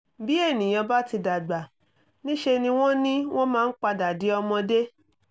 bi ènìyàn bá ti dàgbà níṣe ni wọ́n ni wọ́n máa ń padà di ọmọdé